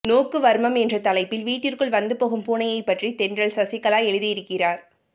நோக்கு வர்மம் என்ற தலைப்பில் வீட்டிற்குள் வந்து போகும் பூனையைப்பற்றி தென்றல் சசிகலா எழுதியிருக்கிறார்